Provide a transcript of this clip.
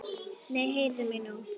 Nei, heyrðu mig nú!